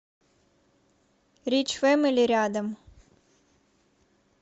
рич фэмили рядом